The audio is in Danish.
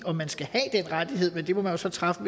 om man skal have den rettighed men det må man så træffe